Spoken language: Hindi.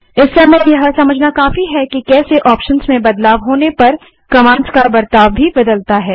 इस समय यह समझना काफी है कि कैसे ऑप्शंस में बदलाव होने पर कमांड्स का बर्ताव बदलता है